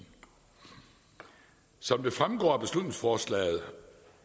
som det fremgår af beslutningsforslaget